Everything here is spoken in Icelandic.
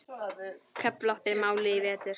Köflótt er málið í vetur.